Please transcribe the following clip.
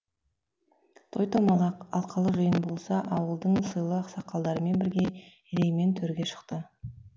той домалақ алқалы жиын болса ауылдың сыйлы ақсақалдарымен бірге ереймен төрге шықты